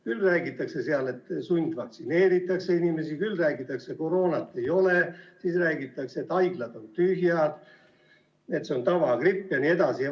Küll räägitakse seal, et sundvaktsineeritakse inimesi, küll räägitakse, et koroonat ei ole, siis räägitakse, et haiglad on tühjad, see on tavagripp jne.